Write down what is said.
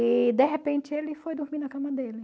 E, de repente, ele foi dormir na cama dele.